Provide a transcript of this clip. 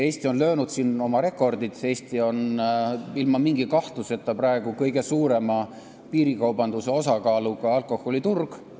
Eesti on siin oma rekordid püstitanud, Eestis on ilma mingi kahtluseta praegu kõige suurema piirikaubanduse osakaaluga alkoholiturg.